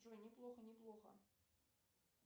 джой не плохо не плохо